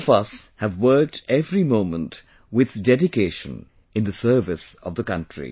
All of us have worked every moment with dedication in the service of the country